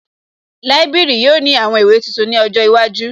Líbìrì yóò ní àwọn ìwé tuntun ní ọjọ́ iwájú